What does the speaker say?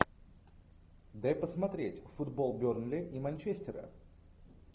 дай посмотреть футбол бернли и манчестера